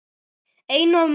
Einu af mörgum.